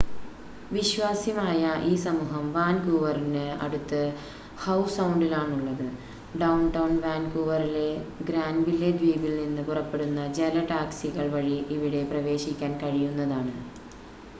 വിശ്വാസ്യമായ ഈ സമൂഹം വാൻകൂവറിന് അടുത്ത് ഹൌ സൗണ്ടിലാണുള്ളത് ഡൗൺടൗൺ വാൻകൂവറിലെ ഗ്രാൻവില്ലേ ദ്വീപിൽ നിന്ന് പുറപ്പെടുന്ന ജല ടാക്‌സികൾ വഴി ഇവിടെ പ്രവേശിക്കാൻ കഴിയുന്നതാണ്